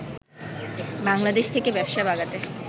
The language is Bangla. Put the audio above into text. বাংলাদেশ থেকে ব্যবসা বাগাতে